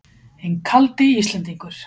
Hinn kaldi Íslendingur!